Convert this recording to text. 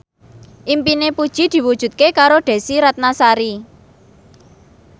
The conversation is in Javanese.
impine Puji diwujudke karo Desy Ratnasari